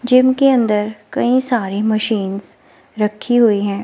Gym के अंदर कई सारी मशीनस रखी हुई हैं।